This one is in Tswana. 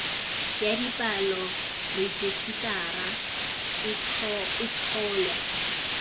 ya dipalo rejisetara e tsholwa